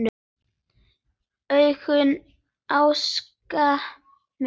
Augun ásaka mig.